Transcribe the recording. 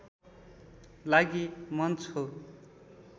लागि मञ्च हो